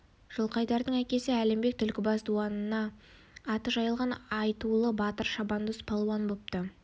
жылқайдардың әкесі әлімбек түлкібас дуанына аты жайылған айтулы батыр шабандоз палуан бопты